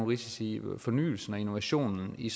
risici i fornyelse og innovation i